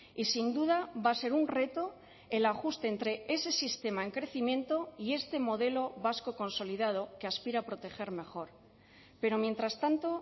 y sin duda va a ser un reto el ajuste entre ese sistema en crecimiento y este modelo vasco consolidado que aspira a proteger mejor pero mientras tanto